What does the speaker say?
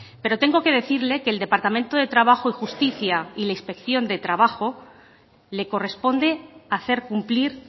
pero tengo que decirle que el departamento de trabajo y justicia y la inspección de trabajo le corresponde hacer cumplir